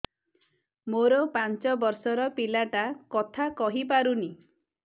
ମୋର ପାଞ୍ଚ ଵର୍ଷ ର ପିଲା ଟା କଥା କହି ପାରୁନି